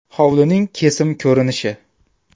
Hovlining kesim ko‘rinishi.